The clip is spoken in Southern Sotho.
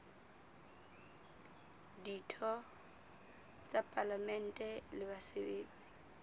ditho tsa palamente le basebetsi